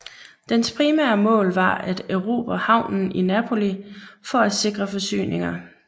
Dens primære mål var at erobre havnen i Napoli for at sikre forsyninger